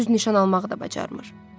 Deyəcəklər düz nişan almağı da bacarmır.